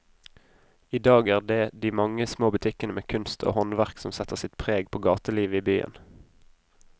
I dag er det de mange små butikkene med kunst og håndverk som setter sitt preg på gatelivet i byen.